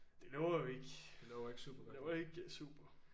Det lover jo ikke det lover ikke super